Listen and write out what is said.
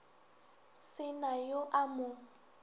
se na yo a mo